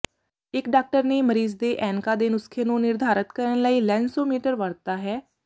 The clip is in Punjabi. ਇਕ ਡਾਕਟਰ ਨੇ ਮਰੀਜ਼ ਦੇ ਐਨਕਾਂ ਦੇ ਨੁਸਖ਼ੇ ਨੂੰ ਨਿਰਧਾਰਤ ਕਰਨ ਲਈ ਲੈਨਸੋਮੀਟਰ ਵਰਤਦਾ ਹੈ